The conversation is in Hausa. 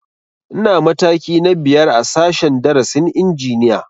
Ina mataki na biyar a sashen darasin injiniya